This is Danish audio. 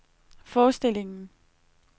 forestillingen